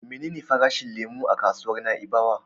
Menene farashin lemo a kasuwar Na'ibawa?